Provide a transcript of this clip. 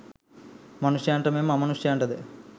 මනුෂ්‍යයන්ට මෙන්ම අමනුෂ්‍යයන්ටද